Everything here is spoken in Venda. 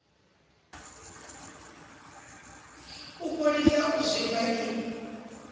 u fholisa u zwimba i